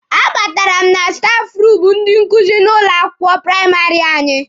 A batara m na stafụ ruumụ ndị nkuzi n'ụlọ akwụkwọ praịmarị anyị.